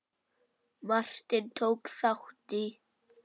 Martin, tók þátt í.